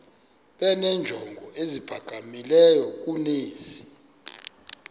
benenjongo eziphakamileyo kunezi